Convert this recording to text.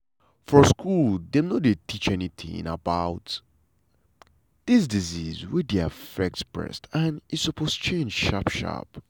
for school dem no dey teach anytin about dis disease wey dey affect breast and e supose change sharp sharp.